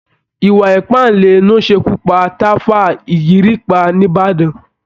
Ìwà iìpàǹle ló ṣekú pa tàfá ìgìrìpá níbàdàn